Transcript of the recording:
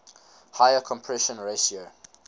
higher compression ratio